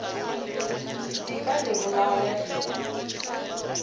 di ka le bolaya di